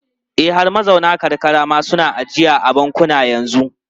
E, har mazauna karkara ma suna ajiya a bankuna yanzu.